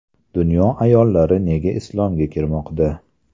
Dunyo ayollari nega islomga kirmoqda?.